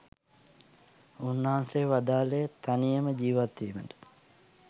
උන්වහන්සේ වදාළේ තනියම ජීවත් වීමට